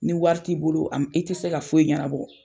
Ni wari t'i bolo am i tɛ se ka foyi ɲɛnabɔ.